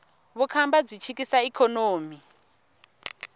vukhamba byi chikisa ikhonomi